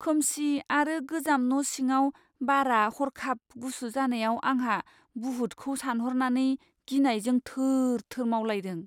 खोमसि आरो गोजाम न' सिङाव बारआ हर्खाब गुसु जानायाव आंहा बुहुथखौ सानहरनानै गिनायजों थोर थोर मावलायदों।